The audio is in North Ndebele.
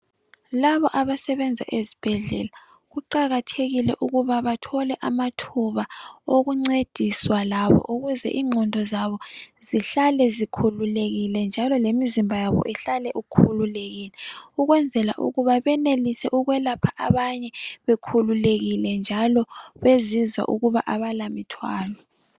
Labo abasebenza ezibhedlela, kuqakathekile ukuba bathole amathuba okuncediswa labo, ukuze ingqondo zabo zihlale zikhululekile, njalo lemizimba yabo ihlale ikhululekile. Ukwenzela ukuba benelise ukwelapha abanye bekhululekile, njalo bezizwa ukuba kabalamithwalo.